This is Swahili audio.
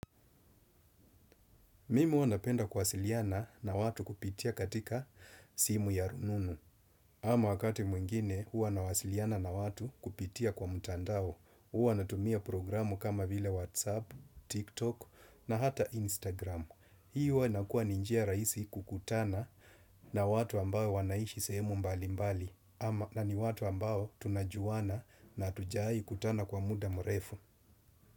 Mimi huwa napenda kuwasiliana na watu kupitia katika simu ya rununu. Ama wakati mwingine, huwa nawasiliana na watu kupitia kwa mutandao. Huwa natumia programu kama vile WhatsApp, TikTok na hata Instagram. Hii huwa inakuwa ni njia rahisi kukutana na watu ambao wanaishi sehemu mbali mbali. Ama na ni watu ambao tunajuana na hatujai kutana kwa muda mrefu.